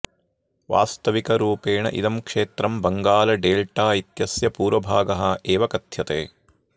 वास्तविकरूपेण इदं क्षेत्रं बङ्गाल डेल्टा इत्यस्य पूर्वभागः एव कथ्यते